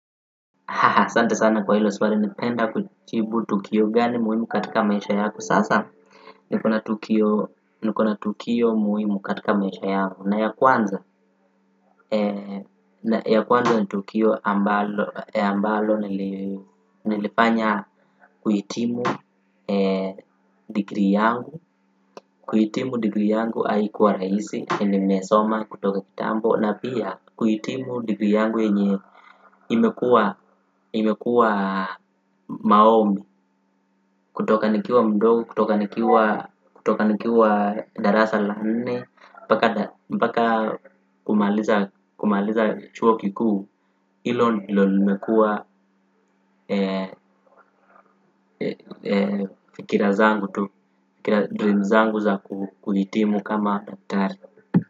Asante sana kwa hilo swali napenda kujibu tukio gani muhimu katika maisha yako. Sasa nikona tukio muhimu katika maisha yangu. Na ya kwanza, ya kwanza ni tukio ambalo nilifanya kuhitimu degree yangu. Kuhitimu degree yangu haikuwa rahisi, nimesoma kutoka kitambo. Na pia kuhitimu degree yangu yenye imekuwa maombi. Kutoka nikiwa mdogo, kutoka nikiwa darasa la nne mpaka kumaliza chuo kikuu hilo ndilo limekuwa fikira zangu tu dream zangu za kuhitimu kama daktari.